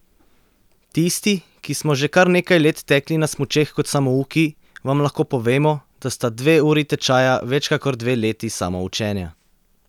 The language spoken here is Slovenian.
Tisti, ki smo že kar nekaj let tekli na smučeh kot samouki, vam lahko povemo, da sta dve uri tečaja več kakor dve leti samoučenja.